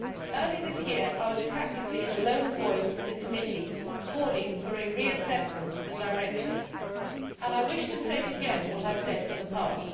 Early this year I was practically a lone voice in the committee calling for a reassessment of the directive, and I wish to state again what I said in the past.